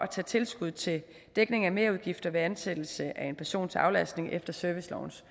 at tage tilskud til dækning af merudgifter ved ansættelse af en person til aflastning efter servicelovens